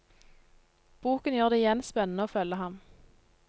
Boken gjør det igjen spennende å følge ham.